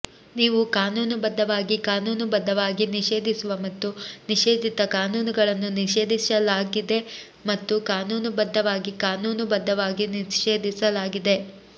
ನೀವು ಕಾನೂನುಬದ್ಧವಾಗಿ ಕಾನೂನುಬದ್ದವಾಗಿ ನಿಷೇಧಿಸುವ ಮತ್ತು ನಿಷೇಧಿತ ಕಾನೂನುಗಳನ್ನು ನಿಷೇಧಿಸಲಾಗಿದೆ ಮತ್ತು ಕಾನೂನುಬದ್ಧವಾಗಿ ಕಾನೂನುಬದ್ಧವಾಗಿ ನಿಷೇಧಿಸಲಾಗಿದೆ